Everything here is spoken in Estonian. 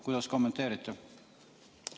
Kuidas kommenteerite?